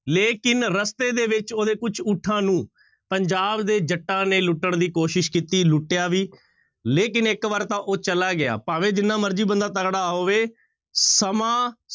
ਲੇਕਿੰਨ ਰਸਤੇ ਦੇ ਵਿੱਚ ਉਹਦੇ ਕੁਛ ਊਠਾਂ ਨੂੰ ਪੰਜਾਬ ਦੇ ਜੱਟਾਂ ਨੇ ਲੁੱਟਣ ਦੀ ਕੋਸ਼ਿਸ਼ ਕੀਤੀ, ਲੁੱਟਿਆ ਵੀ ਲੇਕਿੰਨ ਇੱਕ ਵਾਰ ਤਾਂ ਉਹ ਚਲਾ ਗਿਆ, ਭਾਵੇਂ ਜਿੰਨਾ ਮਰਜ਼ੀ ਬੰਦਾ ਤਕੜਾ ਹੋਵੇ ਸਮਾਂ